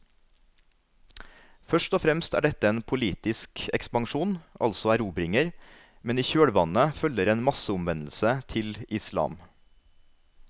Først og fremst er dette en politisk ekspansjon, altså erobringer, men i kjølvannet følger en masseomvendelse til islam.